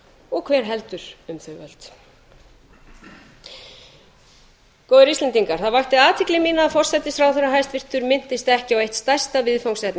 og hver heldur um þau völd góðir íslendingar það vakti athygli mína að hæstvirtur forsætisráðherra minntist ekki á eitt stærsta viðfangsefni